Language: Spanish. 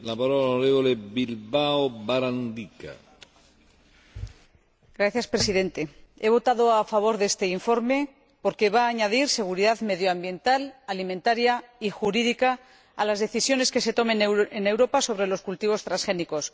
Señor Presidente, he votado a favor de este informe porque va a añadir seguridad medioambiental, alimentaria y jurídica a las decisiones que se tomen en Europa sobre los cultivos transgénicos.